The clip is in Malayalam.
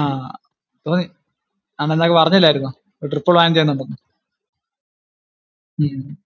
അഹ് തോന്നി, അന്നെന്നോട് പറഞ്ഞില്ലായിരുന്നോ ഒരു trip plan ചെയ്യണമെന്ന് ഉം